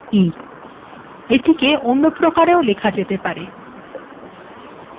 তাহলে লেখা যাক c d e